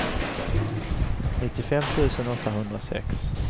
nittiofem tusen åttahundrasex